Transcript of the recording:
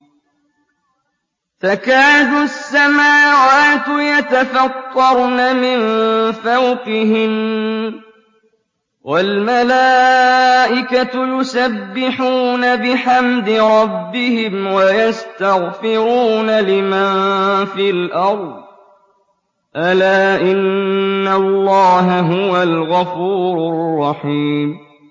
تَكَادُ السَّمَاوَاتُ يَتَفَطَّرْنَ مِن فَوْقِهِنَّ ۚ وَالْمَلَائِكَةُ يُسَبِّحُونَ بِحَمْدِ رَبِّهِمْ وَيَسْتَغْفِرُونَ لِمَن فِي الْأَرْضِ ۗ أَلَا إِنَّ اللَّهَ هُوَ الْغَفُورُ الرَّحِيمُ